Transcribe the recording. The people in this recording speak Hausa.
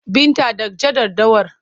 Binta dakja daddawar!